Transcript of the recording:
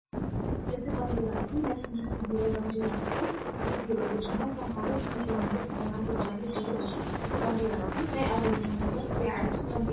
እዚ ባንዴራ እዚ ናይ ትምህርቲ ቢሮ ባንዴራ እንትኮን እዚ ቢሮ እዚ ድማ ንተማሃሮ ዝምዘንሉ ፈተና ዘዳልው ቢሮ እዩ። እዚ ባንዴራ እዚ ናይ ኣበየናይ ሃገር ወይ ዓዲ ባንዴራ እዩ?